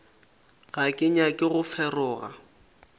ga ke nyake go feroga